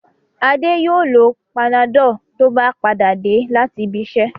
Adé yóò lo Panadol tó bá padà dé láti ibiṣẹ́.